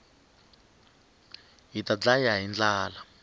hita ndlaya hi ndlala